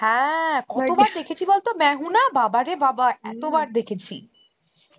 হ্যাঁ দেখেছি বলত Hindi বাবা রে বাবা বার দেখেছি